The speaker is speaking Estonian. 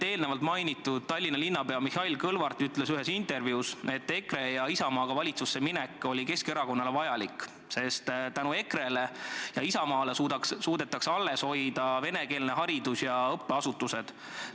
Eelnevalt mainitud Tallinna linnapea Mihhail Kõlvart ütles ühes intervjuus, et EKRE ja Isamaaga valitsusse minek oli Keskerakonnale vajalik, sest tänu EKRE-le ja Isamaale suudetakse alles hoida venekeelne haridus, venekeelsed õppeasutused.